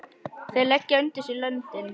Þeir leggja undir sig löndin!